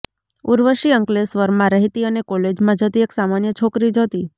ઉર્વશી અંક્લેશ્વરમાં રહેતી અને કોલેજમાં જતી એક સામાન્ય છોકરી જ હતી